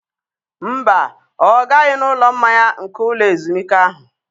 Mba, ọ gaghị n'ụlọ mmanya nke ụlọ ezumike ahụ.